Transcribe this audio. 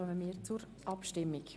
Wir kommen zur Abstimmung.